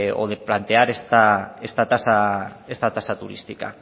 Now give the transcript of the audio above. o de plantear esta tasa turística